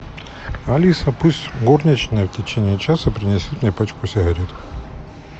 алиса пусть горничная в течение часа принесет мне пачку сигарет